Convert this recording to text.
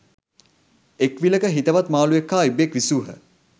එක් විලක හිතවත් මාළුවෙක් හා ඉබ්බෙක් විසූහ.